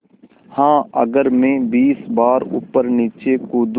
हाँ अगर मैं बीस बार ऊपरनीचे कूदूँ